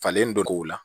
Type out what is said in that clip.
Falen dɔ k'o la